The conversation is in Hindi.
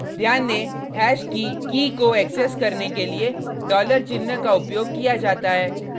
ध्यान दें हैश की कीkey को एक्सेस करने के लिए डॉलर चिन्ह का उपयोग किया जाता है